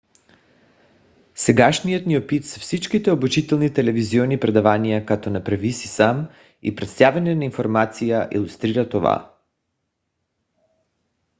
сегашният ни опит с всичките обучителни телевизионни предавания като направи си сам и представяне на информация илюстрира това